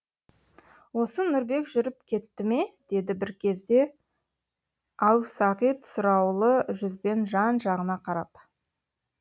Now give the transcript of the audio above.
осы нұрбек жүріп кетті ме деді бір кезде әусағит сұраулы жүзбен жан жағына қарап